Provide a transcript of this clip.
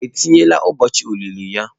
Etinyela ụbọochị olili ya?